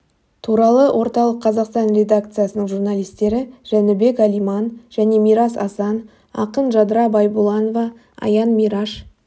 туралы орталық қазақстан редакциясының журналистері жәнібек әлиман және мирас асан ақын жадыра байбуланова аян мейраш